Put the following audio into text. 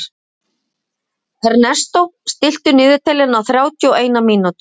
Ernestó, stilltu niðurteljara á þrjátíu og eina mínútur.